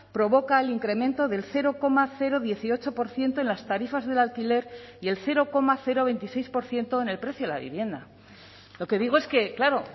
provoca el incremento del cero coma dieciocho por ciento en las tarifas del alquiler y el cero coma veintiséis por ciento en el precio de la vivienda lo que digo es que claro